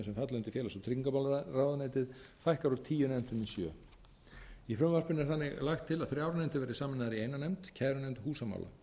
undir félags og tryggingamálaráðuneytið fækkar úr tíu nefndum í sjöunda í frumvarpinu er þannig lagt til að þrjár nefndir verði sameinaðar í eina nefnd kærunefnd húsamála